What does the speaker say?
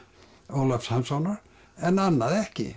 Ólafs Hanssonar en annað ekki